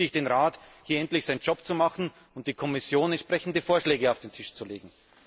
Deswegen bitte ich den Rat, hier endlich seinen Job zu machen, und die Kommission, entsprechende Vorschläge auf den Tisch zu legen.